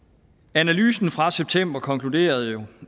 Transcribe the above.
analysen fra september konkluderede jo